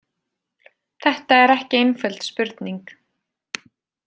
Þetta er ekki einföld spurning.